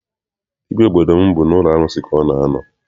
Dibịa obodo m bụ n'ụlọ arụsị ka ọ na a nọ.